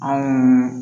Anw